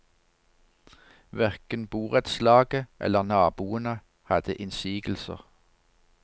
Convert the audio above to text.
Hverken borettslaget eller naboene hadde innsigelser.